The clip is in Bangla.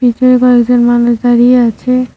দূরে কয়েকজন মানুষ দাঁড়িয়ে আছে।